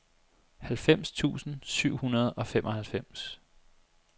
halvfems tusind syv hundrede og femoghalvfems